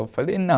Eu falei, não.